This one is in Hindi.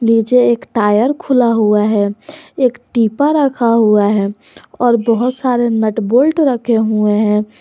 नीचे एक टायर खुला हुआ है एक डिब्बा रखा हुआ है और बहुत सारे नट बोल्ट रखे हुए हैं।